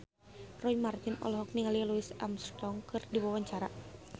Roy Marten olohok ningali Louis Armstrong keur diwawancara